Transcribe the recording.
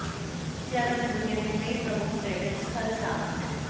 इन शहरों में दुनिया के कई प्रमुख पर्यटन स्थल शामिल हैं